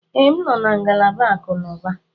Ee, m nọ na ngalaba akụnụba